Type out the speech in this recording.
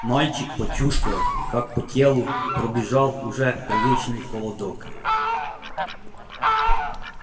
мальчик почувствовал как по телу пробежал уже привычный холодок